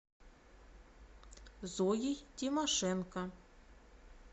зоей тимошенко